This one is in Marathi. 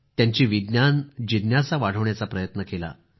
त्यांची विज्ञान जिज्ञासा वाढवण्याचा प्रयत्न केला